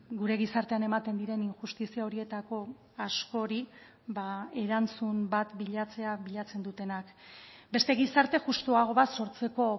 gure gizartean ematen diren injustizia horietako askori erantzun bat bilatzea bilatzen dutenak beste gizarte justuago bat sortzeko